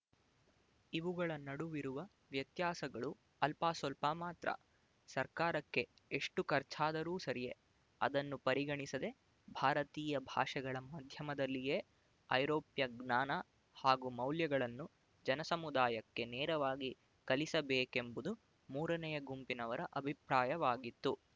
ಇವುಗಳ ನಡುವಿರುವ ವ್ಯತ್ಯಾಸಗಳು ಅಲ್ಪಸ್ವಲ್ಪ ಮಾತ್ರ ಸರ್ಕಾರಕ್ಕೆ ಎಷ್ಟು ಖರ್ಚಾದರೂ ಸರಿಯೇ ಅದನ್ನು ಪರಿಗಣಿಸದೆ ಭಾರತೀಯ ಭಾಷೆಗಳ ಮಾಧ್ಯಮದಲ್ಲಿಯೇ ಐರೋಪ್ಯ ಜ್ಞಾನ ಹಾಗೂ ಮೌಲ್ಯಗಳನ್ನು ಜನಸಮುದಾಯಕ್ಕೆ ನೇರವಾಗಿ ಕಲಿಸಬೇಕೆಂಬುದು ಮೂರನೆಯ ಗುಂಪಿನವರ ಅಭಿಪ್ರಾಯವಾಗಿತ್ತು